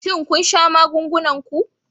Shin kun sha magungunan ku?